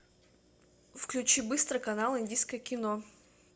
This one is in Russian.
включи быстро канал индийское кино